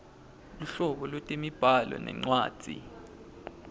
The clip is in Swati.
luhlobo lwetemibhalo nencwadzi